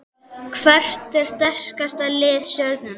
Hvert er sterkasta lið Stjörnunnar?